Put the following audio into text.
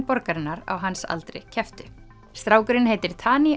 borgarinnar á hans aldri kepptu strákurinn heitir